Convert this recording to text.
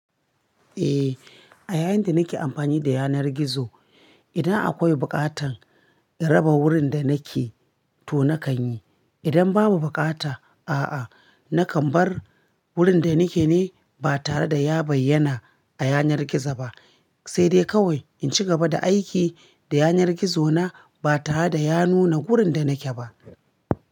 Eh, a yayin da nake amfani da yanar gizo, idan akwai buƙatar in raba wurin da nake to nakan yi. Idan babu buƙata a'a nakan bar wurin da nake ne ba tare da ya bayyana a yanar gizo ba, sai dai kawai in ci gaba da aiki da yanar gizona ba tare da ya nuna wurin da nake ba.